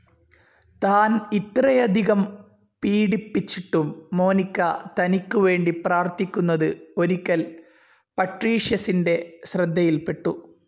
താൻ ഇത്രയധികം പീഡിപ്പിച്ചിട്ടും മോനിക്ക തനിക്കു വേണ്ടി പ്രാർഥിക്കുന്നത് ഒരിക്കൽ പട്രീഷ്യസിന്റെ ശ്രദ്ധയിൽ പെട്ടു.